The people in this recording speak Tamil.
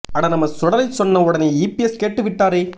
அட நம்ம சுடலை சொன்ன உடனே இ பி எஸ் கேட்டு விட்டாரே